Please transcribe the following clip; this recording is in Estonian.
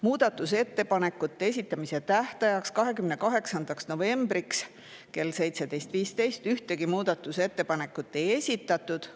Muudatusettepanekute esitamise tähtajaks, 28. novembriks kella 17.15-ks, ühtegi muudatusettepanekut ei esitatud.